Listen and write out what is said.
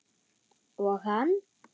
Og hann?